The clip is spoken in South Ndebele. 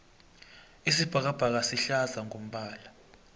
isibhakabhaka sihlaza ngombala